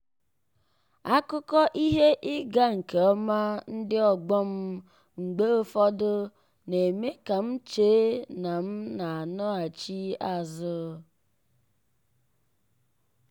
akụkọ ihe ịga nke ọma ndị ọgbọ m mgbe ụfọdụ na-eme ka m chee na m n'anọghachi azụ.